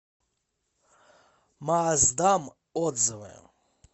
маасдам отзывы